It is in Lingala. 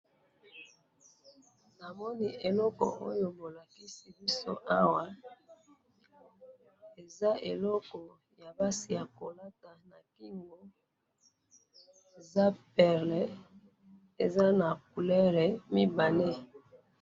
na moni eloko oyo bolakisi biso awa eza eloko eloko yaba mwasi bakolaka na kigo eza e perle eza na couleur mibale